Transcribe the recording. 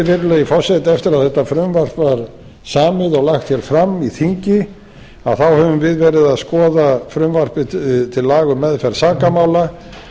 virðulegi forseti eftir að þetta frumvarp var samið og lagt hér fram í þingi þá höfum við verið að skoða frumvarp til laga um meðferð sakamála